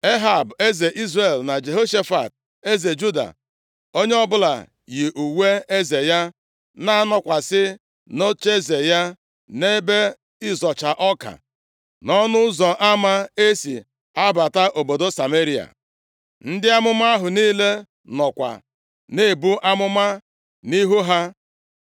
Ehab eze Izrel na Jehoshafat eze Juda, onye ọbụla yi uwe eze ya, na-anọkwasị nʼocheeze ya nʼebe ịzọcha ọka nʼọnụ ụzọ ama e si abata obodo Sameria. Ndị amụma ahụ niile nọkwa na-ebu amụma nʼihu ha.